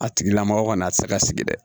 A tigila mɔgɔ kɔni a ti se ka sigi dɛ